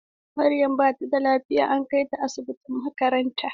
Maryam bata da lafiya an kaita asibitin makaranta.